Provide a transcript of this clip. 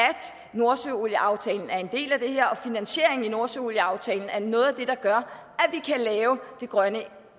at nordsøolieaftalen er en del af det her og finansieringen af nordsøolieaftalen er noget af det der gør at lave det grønne